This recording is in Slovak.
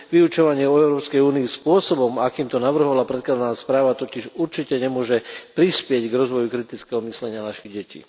Vyučovanie o Európskej únii spôsobom, akým to navrhovala predkladaná správa, totiž určite nemôže prispieť k rozvoju kritického myslenia našich detí.